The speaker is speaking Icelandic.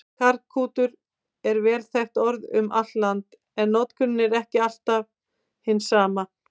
Karklútur er vel þekkt orð um allt land, en notkunin er ekki alltaf hin sama.